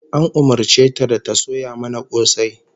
An umurce ta da ta soya mana kosai